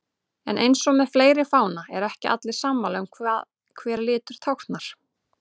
En eins og með fleiri fána eru ekki allir sammála um hvað hver litur táknar.